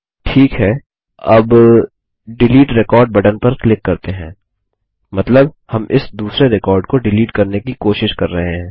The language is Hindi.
ठीक है अब डिलीट रेकॉर्ड बटन पर क्लिक करते हैं मतलब हम इस दुसरे रिकॉर्ड को डिलीट करने की कोशिश कर रहे हैं